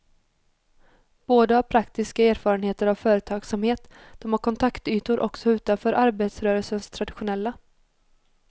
Båda har praktiska erfarenheter av företagsamhet, de har kontaktytor också utanför arbetarrörelsens traditionella.